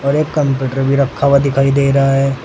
और एक कंप्यूटर भी रखा हुआ दिखाई दे रहा है।